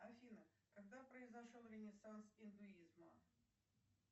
афина когда произошел ренессанс индуизма